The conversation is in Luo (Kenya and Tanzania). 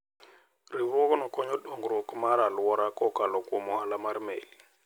Riwruogno konyo dongruok mar alwora kokalo kuom ohala mar meli.